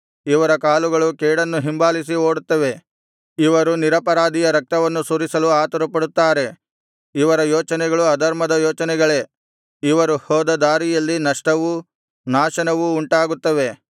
ಇವರ ಕಾಲುಗಳು ಕೇಡನ್ನು ಹಿಂಬಾಲಿಸಿ ಓಡುತ್ತವೆ ಇವರು ನಿರಪರಾಧಿಯ ರಕ್ತವನ್ನು ಸುರಿಸಲು ಆತುರಪಡುತ್ತಾರೆ ಇವರ ಯೋಚನೆಗಳು ಅಧರ್ಮದ ಯೋಚನೆಗಳೇ ಇವರು ಹೋದ ದಾರಿಗಳಲ್ಲಿ ನಷ್ಟವೂ ನಾಶನವೂ ಉಂಟಾಗುತ್ತವೆ